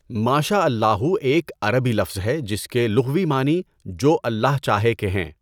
مَا شَاءَ ٱللَّٰهُ ایک عربی لفظ ہے جس کے لغوی معنی جو اللہ چاہے کے ہیں۔